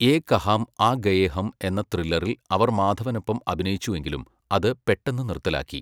യേ കഹാം ആ ഗയേ ഹം' എന്ന ത്രില്ലറിൽ അവർ മാധവനൊപ്പം അഭിനയിച്ചുവെങ്കിലും, അത് പെട്ടെന്ന് നിർത്തലാക്കി .